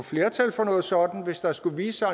flertal for noget sådant hvis der skulle vise sig